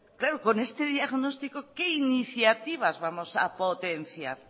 claro con este diagnóstico qué iniciativas vamos a potenciar